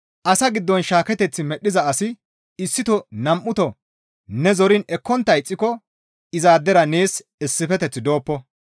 Asa giddon shaaketeth medhdhiza asi issito nam7uto ne zoriin ekkontta ixxiko izaadera nees issifeteththi dooppo.